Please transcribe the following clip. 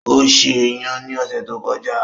Ó ṣe iyan ní ọ̀sẹ̀ tó kọjá.